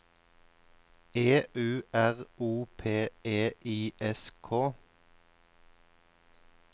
E U R O P E I S K